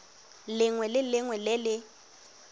lengwe le lengwe le le